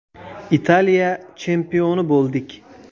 Italiya chempioni bo‘ldik!